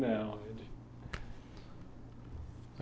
Não.